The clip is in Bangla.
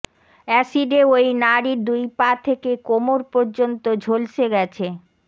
এসিডে ওই নারীর দুই পা থেকে কোমর পর্যন্ত ঝলসে গেছে